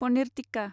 paneer tikka